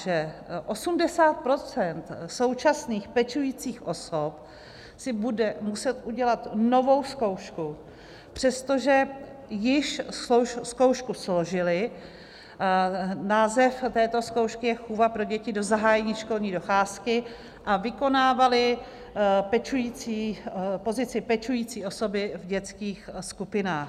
Že 80 % současných pečujících osob si bude muset udělat novou zkoušku, přestože již zkoušku složily - název této zkoušky je "chůva pro děti do zahájení školní docházky" - a vykonávaly pozici pečující osoby v dětských skupinách.